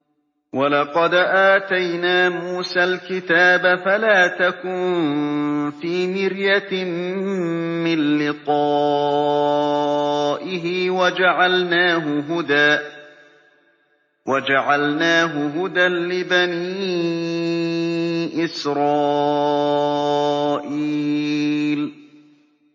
وَلَقَدْ آتَيْنَا مُوسَى الْكِتَابَ فَلَا تَكُن فِي مِرْيَةٍ مِّن لِّقَائِهِ ۖ وَجَعَلْنَاهُ هُدًى لِّبَنِي إِسْرَائِيلَ